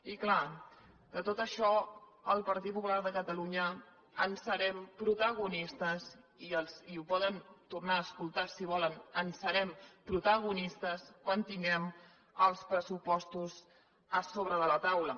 i clar de tot això el partit popular de catalunya en serem protagonistes i ho poden tornar a escoltar si volen en serem protagonistes quan tinguem els pressupostos a sobre de la taula